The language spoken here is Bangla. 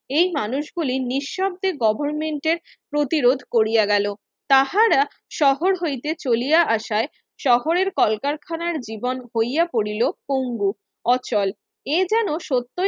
এই মানুষগুলি নিঃশব্দে গভর্মেন্ট এর প্রতিরোধ করিয়া গেলো তাঁহারা শহর হতে চলিয়া আসায় শহরের কলকারখানা জীবন হইয়া পড়িল পংগু অচল এ যেন সত্যই